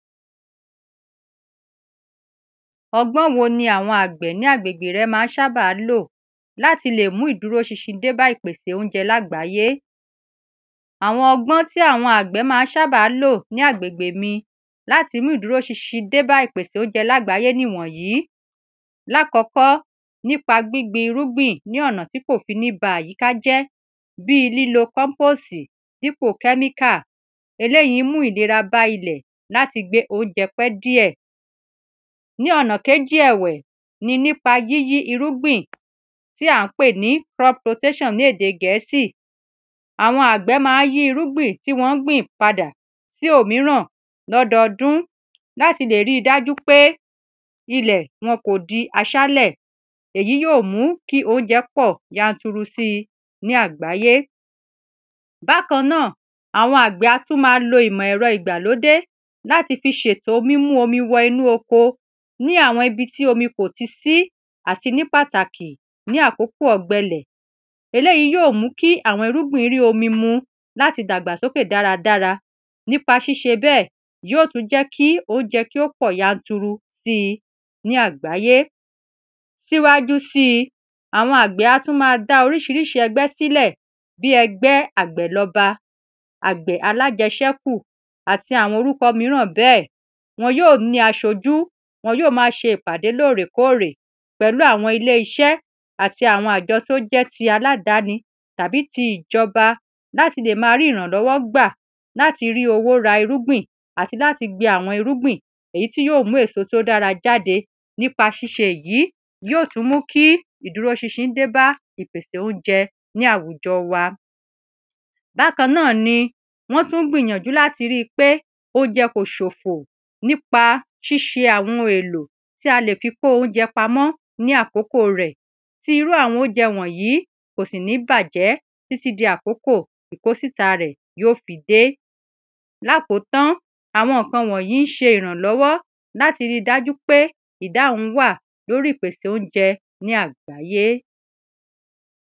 Ọgbọ́n wo ni àwọn àgbẹ̀ ní agbègbè rẹ máa ń sábà lò láti le mú ìdúró ṣinṣin dé bá ìpèsè óunjẹ ní àgbáyé Àwọn ọgbọ́n tí àwọn àgbẹ̀ máa ń sábà lò ní agbègbè mi láti mú ìdúró ṣinṣin dé bá ìpèsè óunjẹ ní àgbáyé nìwònyìí Ní àkọ́kọ́ nípa gbígbin irúgbìn ní ọ̀nà tí kò fi ní bá àyíká jẹ́ bíi lílò compose dípò chemical Eléyì ń mú ìlera bá ilẹ̀ láti gbé óunjẹ pẹ́ díẹ̀ Ní ọ̀nà kejì ẹ̀wẹ̀ ni nípa yíyí irúgbìn tí à ń pè ní crop rotation ní èdè gẹ̀ẹ́sì Àwọn àgbẹ̀ máa ń yí irúgbìn tí wọ́n gbìn padà sí òmíràn ní ọdọọdún láti lè ri dájú pé ilẹ̀ wọn kò di aṣálẹ̀ Èyí yóò mú kí óunjẹ pọ̀ yanturu síi ní àgbáyé Bákan náà àwọn àgbẹ̀ á tún máa lo ìmọ̀ ẹ̀rọ ìgbàlódé láti fi ṣètọ mímú omi wo inú oko ní àwọn ibi tí omi kò tí si àti ní pàtàkí ni àkókò ọ̀gbẹ ilẹ̀ Eléyì yóò mú kí àwọn irúgbìn rí omi mu láti dàgbàsókè dáradára Nípa ṣíṣe bẹ́ẹ̀ yóò tú jẹ́ kí óunjẹ kí ó pọ̀ yanturu síi ní àgbáyé Síwájú síi àwọn àgbẹ̀ á tún máa dá oríṣiríṣi ẹgbẹ́ sílẹ̀ bíi ẹgbẹ́ àgbẹ̀lọba àgbẹ̀ alájẹṣẹ́kù àti àwọn orúkọ mìíràn bẹ́ẹ̀ Wọn yóò ní aṣájú wọn yóò máa ṣe ìpàdé lóòrèkóòrè pẹ̀lú àwọn ilé iṣẹ́ àti àwọn àjọ tí ó jẹ́ ti aládani tàbí tí ìjọba láti lè máa rí ìrànlọ́wọ́ gbà láti rí owó ra irúgbìn àti láti gbin àwọn irúgbìn èyí tí yóò mú èso tí ó dára jáde Nípa ṣíṣe èyí yóò tún mú kí ìdúró ṣinṣin dé bá ìpèsè óunjẹ ní àwùjọ wa Bákan náà ni wọ́n tún gbìnyànjú láti ríi pé óunjẹ kò ṣòfò nípa ṣíṣe àwọn oun èlò tí a lè fi kó óunjẹ pạmọ́ ní àkókò rẹ̀ Tí irú àwọn óunjẹ wọ̀nyìí kò sì ní bàjẹ́ títí di àkókò ìkósíta rẹ yóò fi dé Lákotán àwọn nǹkan wọ̀nyìí ń ṣe ìrànlọ́wọ́ láti ri dáju pé ìdáhùn wà lórí ìpèsè óunjẹ ní àgbáyé